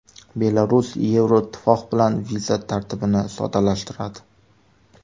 Belarus Yevroittifoq bilan viza tartibini soddalashtiradi.